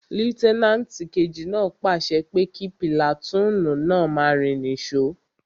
Lútẹ́nàtì kejì náà pàṣẹ pé kí pìlàtúùnù náà máa rìn ní sò